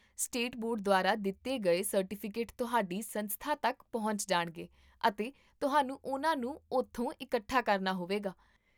state board ਦੁਆਰਾ ਦਿੱਤੇ ਗਏ ਸਰਟੀਫਿਕੇਟ ਤੁਹਾਡੀ ਸੰਸਥਾ ਤੱਕ ਪਹੁੰਚ ਜਾਣਗੇ, ਅਤੇ ਤੁਹਾਨੂੰ ਉਨ੍ਹਾਂ ਨੂੰ ਉਥੋਂ ਇਕੱਠਾ ਕਰਨਾ ਹੋਵੇਗਾ